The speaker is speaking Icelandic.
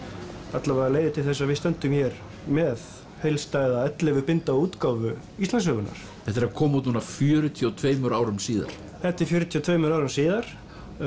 alla vega leiðir til þess að við stöndum hér með heildstæða ellefu binda útgáfu Íslandssögunnar þetta er að koma út núna fjörutíu og tveimur árum síðar þetta er fjörutíu og tveimur árum síðar